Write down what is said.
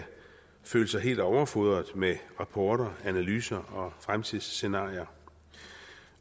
føle sig helt overfodret med rapporter og analyser og fremtidsscenarier